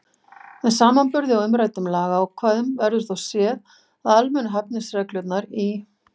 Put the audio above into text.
Með samanburði á umræddum lagaákvæðum verður þó séð, að almennu hæfisreglurnar í